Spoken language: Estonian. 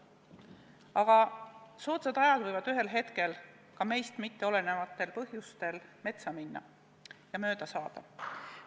Aga soodsad ajad võivad ühel hetkel ka meist mitte olenevatel põhjustel metsa minna ja mööda saada.